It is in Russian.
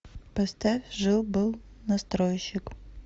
поставь жил был настройщик